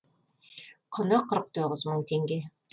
құны қырық тоғыз мың теңге